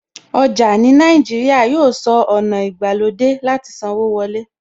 Ọjà ní Nàìjíríà yóò sọ ọ̀nà ìgbàlódé láti sanwó wọlé.